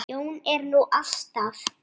Jón er nú alltaf